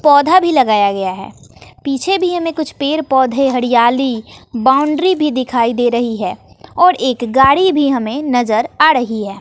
पौधा भी लगाया गया है पीछे भी हमें कुछ पेड़ पौधे हरियाली बाउंड्री भी दिखाई दे रही है और एक गाड़ी भी हमें नजर आ रही है।